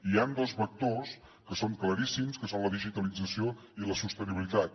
hi han dos vectors que són claríssims que són la digitalització i la sostenibilitat